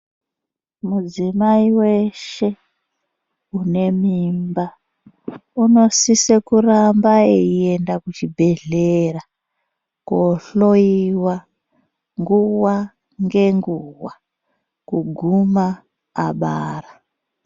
Mudzimai weshe unemimba unosise kuramba eienda kuchibhedhlera koohloiwa nguwa ngenguwa kuguma abara.